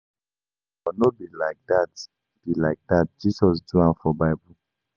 I know but no be like dat be like dat Jesus do am for bible